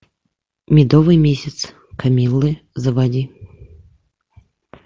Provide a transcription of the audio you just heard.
медовый месяц камиллы заводи